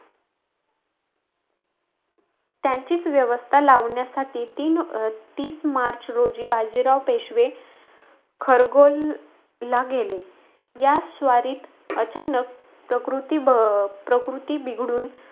त्यांचीच व्यवस्था लावण्यासाठी, तीन अं तीस मार्च रोजी बाजीराव पेशवे खरगोणला गेले. या स्वारीत अचानक प्रकृति ब अं प्रकृति बिघडून,